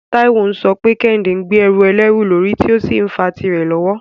Taiwo ń sọ pé Kehinde ń gbé ẹrù ẹlẹ́rù lórí tí ó sì ń fa tìrẹ lọ́wọ́.